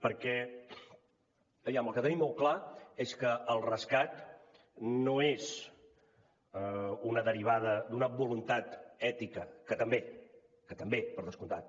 perquè aviam el que tenim molt clar és que el rescat no és una derivada d’una voluntat ètica que també que també per descomptat